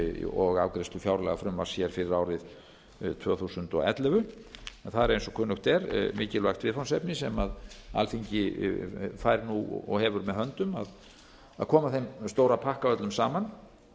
og afgreiðslu fjárlagafrumvarps hér fyrir árið tvö þúsund og ellefu en það er eins og kunnugt er mikilvægt viðfangsefni sem alþingi fær nú og hefur með höndum að koma þeim stóra pakka öllum saman